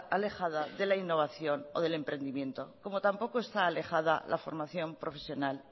alejada de la innovación o del emprendimiento como tampoco está alejada la formación profesional